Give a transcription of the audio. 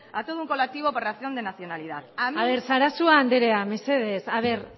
por razón de nacionalidad a ver sarasua andrea a ver